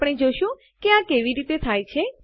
આપણે જોશું કે આ કેવી રીતે થાય છે